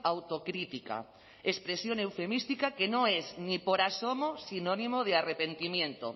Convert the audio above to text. autocrítica expresión eufemística que no es ni por asomo sinónimo de arrepentimiento